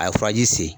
A ye furaji se